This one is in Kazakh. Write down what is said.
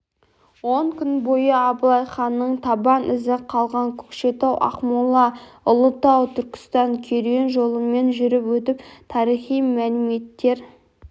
он күн бойы абылай ханның табан ізі қалған көкшетау-ақмола-ұлытау-түркістан керуен жолымен жүріп өтіп тарихи мәліметтер